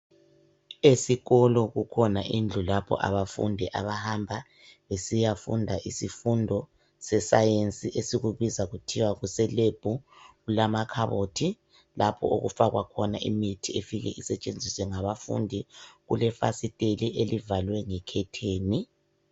Esikolo kukhona indlu lapha abafundi abahamba besiyafunda isifundo seScience. Esikubiza kuthiwa kuseLab. Kulamakhabothi, lapho okufakwa khona imithi, efike isetshenziswe ngabafundi, Kulefasiteli, elivalwe ngekhetheni,